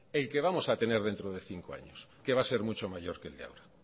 el que vamos a tener dentro de cinco años que va a ser mucho mayor que el de ahora